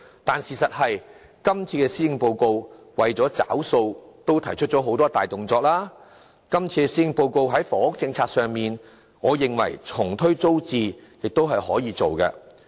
但事實是今次的施政報告為了"結帳"已提出了多項大動作，今次的施政報告在房屋政策上重推租置計劃，我認為是可行的。